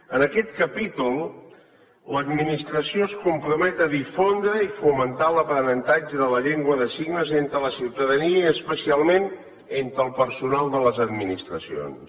en aquest capítol l’administració es compromet a difondre i fomentar l’aprenentatge de la llengua de signes entre la ciutadania i especialment entre el personal de les administracions